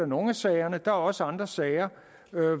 nogle af sagerne og der er også andre sager